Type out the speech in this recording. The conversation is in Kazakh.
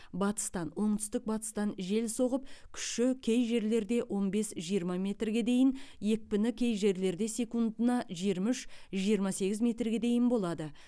батыстан оңтүстік батыстан жел соғып күші кей жерлерде он бес жиырма метрге дейін екпіні кей жерлерде секундына жиырма үш жиырма сегіз метрге дейін болады